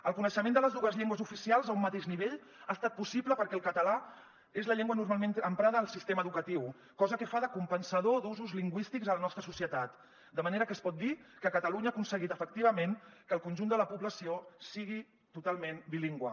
el coneixement de les dues llengües oficials a un mateix nivell ha estat possible perquè el català és la llengua normalment emprada en el sistema educatiu cosa que fa de compensador d’usos lingüístics a la nostra societat de manera que es pot dir que catalunya ha aconseguit efectivament que el conjunt de la població sigui totalment bilingüe